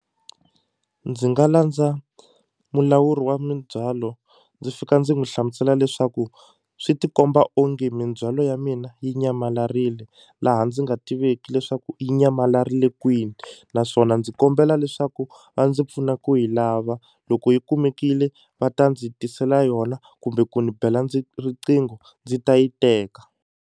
Ndzi nga landza mulawuri wa mindzhwalo ndzi fika ndzi n'wi hlamusela leswaku swi ti komba onge mindzhwalo ya mina yi nyamalarile laha ndzi nga tiveki leswaku nyamalarile kwini naswona ndzi kombela leswaku va ndzi pfuna ku yi lava loko yi kumekile va ta ndzi tisela yona kumbe ku ni bela riqingho ndzi ta yi teka.